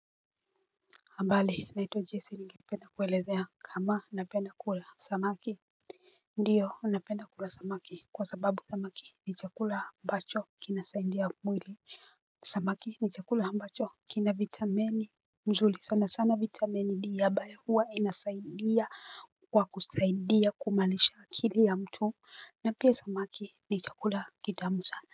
Habari, naitwa Jesi na ningependa kuelezea kama napenda kula samaki, ndio napenda kula samaki kwa sababu samaki ni chakula ambacho kinasaidia mwili. Samaki ni chakula ambacho kina vitamini nzuri sana sana vitamini D ambayo huwa inasaidia kwa kusaidia kuimarisha akili ya mtu, na pia samaki ni chakula kitamu sana.